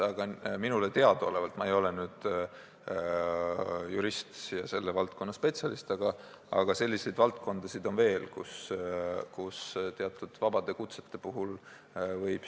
Aga minule teadaolevalt – ma ei ole jurist ja selle valdkonna spetsialist – sellised juhtumid on reguleeritud.